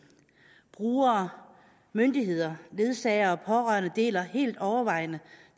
brugere myndigheder ledsagere og pårørende deler helt overvejende